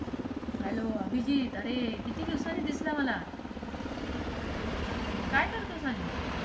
Hello Abhijit अरे किती दिवसांनी दिसला मला. काय करतोस हल्ली?